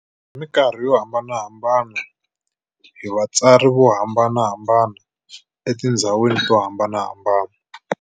Hi minkarhi yo hambanahambana, hi vatsari vo hambanahambana, etindzhawini to hambanahambana.